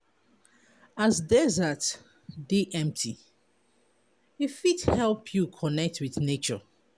As desert dey empty, e fit help you connect wit nature.